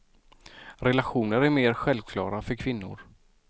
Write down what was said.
Relationer är mer självklara för kvinnor.